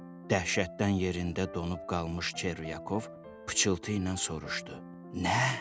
Dəhşətdən yerində donub qalmış Çervyakov pıçıltı ilə soruşdu: Nə?